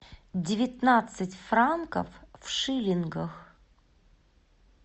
девятнадцать франков в шиллингах